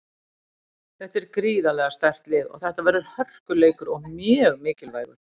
Þetta er gríðarlega sterkt lið og þetta verður hörkuleikur og mjög mikilvægur.